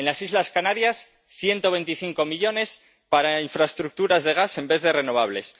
En las islas Canarias, 125 millones para infraestructuras de gas en vez de renovables.